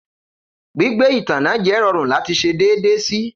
Gbigbe itanna jẹ rọrun lati ṣe deede si.